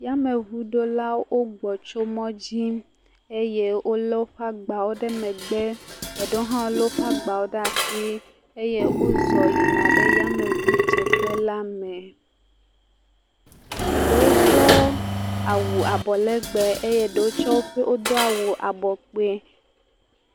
Yameŋuɖolawo gbɔ tso mɔ dzi, eye wole woƒe agbawo ɖe megbe, eɖewo hã lé woƒe agbawo ɖe asi eye wozɔ yina ɖe yameŋudzeƒela me, eɖewo do awu abɔ legbe eye eɖewo tse wodo awu abɔ kpoe.